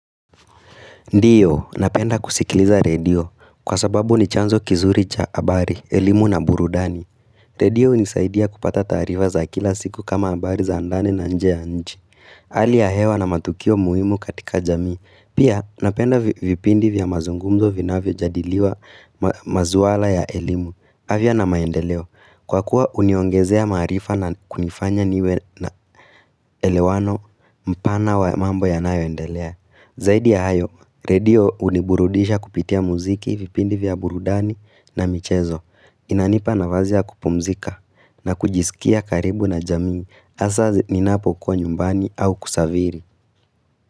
Ndiyo, napenda kusikiliza radio, kwa sababu ni chanzo kizuri cha abari, elimu na burudani. Radio nisaidia kupata tarifa za kila siku kama abari za andani na nje ya nji. Ali ya hewa na matukio muimu katika jamii. Pia, napenda vipindi vya mazungumzo vina vya jadiliwa mazuwala ya elimu. Havia na maendeleo, kwa kuwa uniongezea marifa na kunifanya niwe na elewano mpana wa mambo ya nayo endelea. Zaidi ya hayo, radio uniburudisha kupitia muziki vipindi vya burudani na michezo. Inanipa na vazia kupumzika na kujisikia karibu na jamii hasaa ninapo kwa nyumbani au kusaviri.